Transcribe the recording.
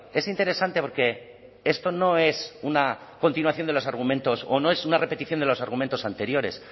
es interesante porque esto no es una continuación de los argumentos o no es una repetición de los argumentos anteriores